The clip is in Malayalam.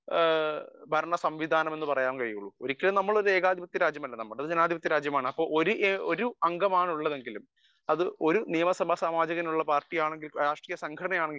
സ്പീക്കർ 1 ഒരു മികച്ച ഭരണ സംവിധാനം എന്ന് പറയാൻ കഴിയുകയുള്ളു ഒരിക്കലും നമ്മൾ ഒരു ഏകാധിപത്യ രാജ്യമല്ല നമ്മുടേത് ഒരു ജനാധിപത്യ രാജ്യമാണ് ഒരു അംഗമാണ് ഉള്ളതെങ്കിലും അത് ഒരു നിയമസഭാ സാമാജികൻ ഉള്ള പാർട്ടിയാണെങ്കിലും